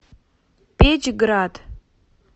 печьград